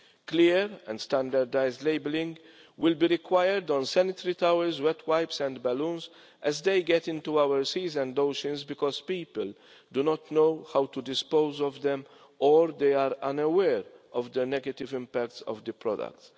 Clear and standardised labelling will be required on sanitary towels, wet wipes and balloons, as they get into our seas and oceans because people do not know how to dispose of them or they are unaware of the negative impact of the products.